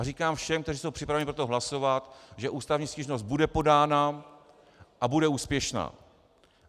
A říkám všem, kteří jsou připraveni pro to hlasovat, že ústavní stížnost bude podána a bude úspěšná.